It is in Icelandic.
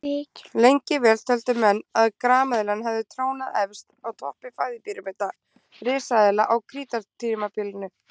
Lengi vel töldu menn að grameðlan hafi trónað efst á toppi fæðupíramíta risaeðla á krítartímabilinu.